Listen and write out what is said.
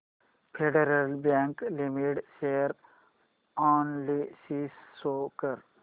federal bank limited share analysis show कर